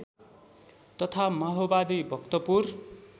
तथा माओवादी भक्तपुर